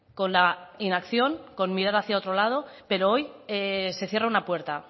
con la inacción con mirar hacia otro lado pero hoy se cierra una puerta